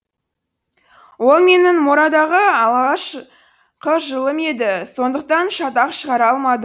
ол менің морадағы алғашқы жылым еді сондықтан шатақ шығара алмады